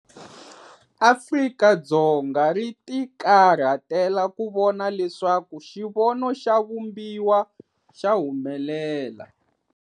Afrika-Dzonga ri tikarhatela ku vona leswaku xivono xa Vumbiwa xa humelela.